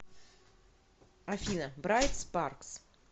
афина брайт спаркс